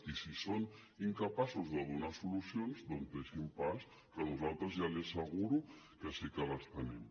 i si són incapaços de donar solucions doncs deixin pas que nosaltres ja li asseguro que sí que les tenim